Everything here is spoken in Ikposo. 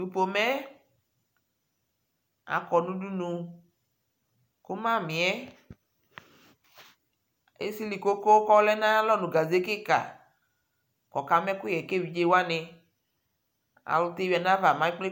Tʋ pomɛ yɛ akɔ nʋ udunu kʋ mamɩ yɛ esili koko kʋ ɔlɛ nʋ ayalɔ nʋ gaze kɩka kʋ ɔkama ɛkʋyɛ ka evidze wanɩ Alʋ ti yuidu nʋ ayava mɛ ekple